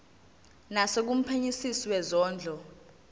naso kumphenyisisi wezondlo